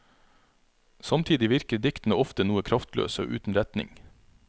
Samtidig virker diktene ofte noe kraftløse og uten retning.